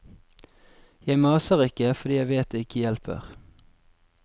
Jeg maser ikke, fordi jeg vet det ikke hjelper.